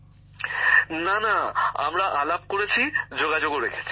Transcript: গ্যামর জীঃ না না আমরা কথা বলেছি যোগাযোগ রেখেছি